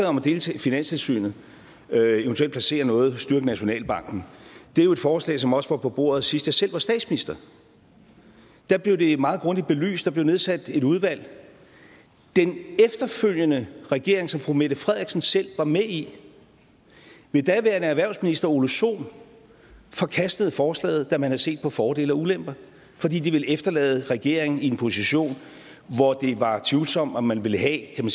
om at dele finanstilsynet og eventuelt placere noget i og styrke nationalbanken er jo et forslag som også var på bordet sidst jeg selv var statsminister da blev det meget grundigt belyst og der blev nedsat et udvalg den efterfølgende regering som fru mette frederiksen selv var med i med daværende erhvervsminister ole sohn forkastede forslaget da man havde set på fordele og ulemper fordi det ville efterlade regeringen i en position hvor det var tvivlsomt om man ville have kan